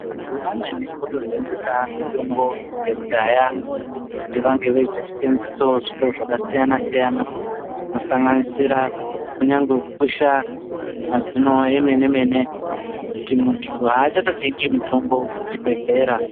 Antu amweni otosimbisa mitombo yekudhaya kuti vange veizoseenzesawo zviro zvakasiyana siyana zvinosanganisira kunyangwe kukwesha mazino emene mene kuti muntu achatotengi mitombo kuchibhedhlera.